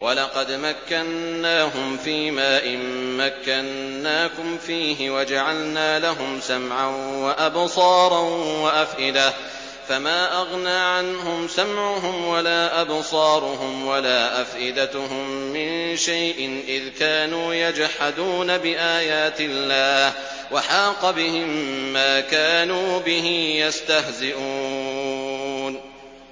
وَلَقَدْ مَكَّنَّاهُمْ فِيمَا إِن مَّكَّنَّاكُمْ فِيهِ وَجَعَلْنَا لَهُمْ سَمْعًا وَأَبْصَارًا وَأَفْئِدَةً فَمَا أَغْنَىٰ عَنْهُمْ سَمْعُهُمْ وَلَا أَبْصَارُهُمْ وَلَا أَفْئِدَتُهُم مِّن شَيْءٍ إِذْ كَانُوا يَجْحَدُونَ بِآيَاتِ اللَّهِ وَحَاقَ بِهِم مَّا كَانُوا بِهِ يَسْتَهْزِئُونَ